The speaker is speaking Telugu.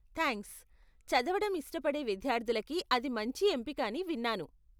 థాంక్స్, చదవటం ఇష్టపడే విద్యార్ధులకి అది మంచి ఎంపిక అని విన్నాను.